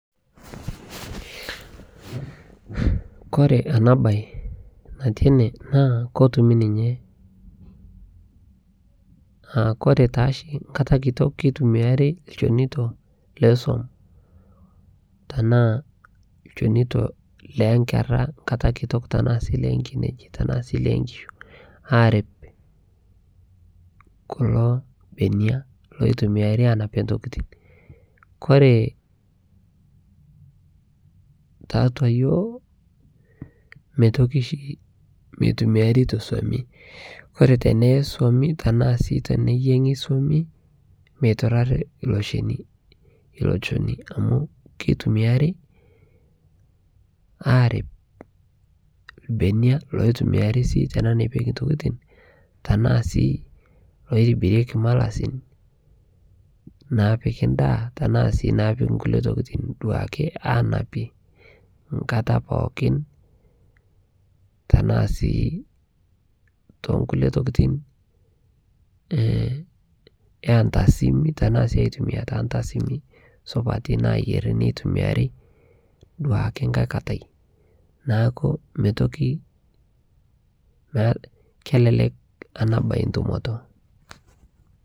Kore ana bai nati enee naa kotumii ninyee aa kore taashi nkata kitok keitumiari lchonitoo lesuom tanaa lchonito lenkera nkataa kitok tanaa sii lenkinejii tanaa sii lenkishu arip kuloo benia loitumiari anapie ntokitin Kore taatua yooh meitoki shi meitumiari te suomii Kore tenee Suomi tanaa sii teneyengii suomii meiturari ilo shonii amu keitumiari arip lbenia loitumiari sii apik ntokitin tanaa sii loitibirieki malasin naapiki ndaa tanaa naapiki nkulie tokitin duake anapie nkataa pookin tanaa sii tonkulie tokitin entasimii tanaa sii aitumia te ntasimi supatii nayeri neitumiari duake nghai katai naaku meitoki kelelek ana bai ntumoto